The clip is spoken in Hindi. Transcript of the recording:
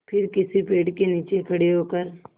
फिर किसी पेड़ के नीचे खड़े होकर